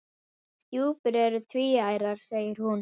Stjúpur eru tvíærar segir hún.